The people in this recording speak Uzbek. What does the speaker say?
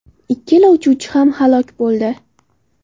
Ikkala uchuvchi ham halok bo‘ldi.